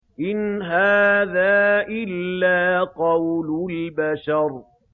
إِنْ هَٰذَا إِلَّا قَوْلُ الْبَشَرِ